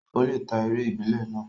Ó lè ta eré ìbílẹ̀ náà.